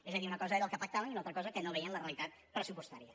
és a dir una cosa era el que pactaven i una altra cosa que no veien la realitat pressupostària